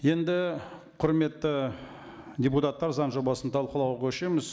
енді құрметті депутаттар заң жобасын талқылауға көшеміз